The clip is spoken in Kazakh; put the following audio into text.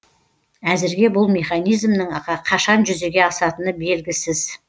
әзірге бұл механизмнің қашан жүзеге асатыны белгісіз